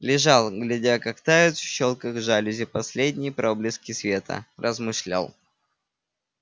лежал глядя как тают в щелях жалюзи последние проблески света размышлял